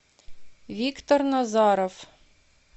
виктор назаров